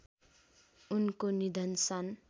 उनको निधन सन्